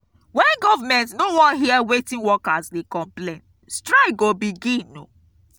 wen government no wan hear wetin workers dey complain strike go begin.